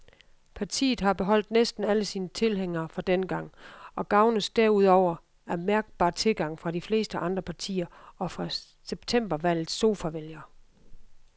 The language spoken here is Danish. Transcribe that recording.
Partiet har beholdt næsten alle sine tilhængere fra dengang og gavnes derudover af mærkbar tilgang fra de fleste andre partier og fra septembervalgets sofavælgere.